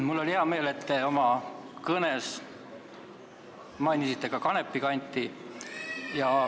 Mul on hea meel, et te oma kõnes mainisite ka Kanepi kanti.